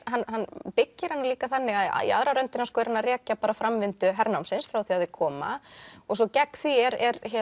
hann byggir hana líka þannig að í aðra röndina er hann að rekja framvindu hernámsins frá því að þeir koma og svo gegn því er